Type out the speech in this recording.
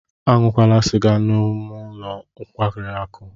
Aṅụla sịga n'ọnụ ụlọ nkwari akụ!